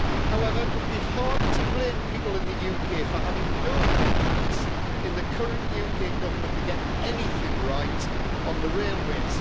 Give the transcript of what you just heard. However, it would be hard to blame people in the UK for having no confidence in the current UK Government to get anything right on the railways.